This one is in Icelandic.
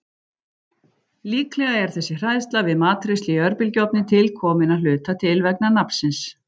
Líklega er þessi hræðsla við matreiðslu í örbylgjuofni til komin að hluta til vegna nafnsins.